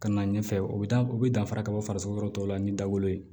Ka na ɲɛfɛ u bɛ taa u bɛ danfara ka bɔ farisoko yɔrɔ tɔw la ani dawolo ye